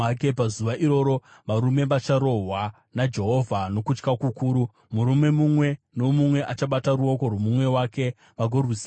Pazuva iroro varume vacharohwa naJehovha nokutya kukuru. Murume mumwe nomumwe achabata ruoko rwomumwe wake, vagorwisana.